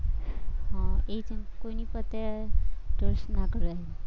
હમ એ જ ને કોઈની પ્રત્યે trust ના કરાય.